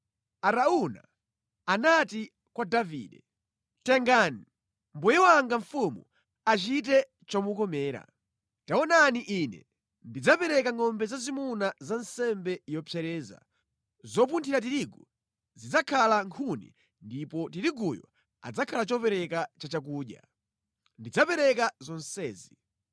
Arauna anati kwa Davide, “Tengani! Mbuye wanga mfumu achite chomukomera. Taonani ine ndidzapereka ngʼombe zazimuna za nsembe yopsereza, zopunthira tirigu zidzakhala nkhuni ndipo tiriguyu adzakhala chopereka chachakudya. Ndidzapereka zonsezi.”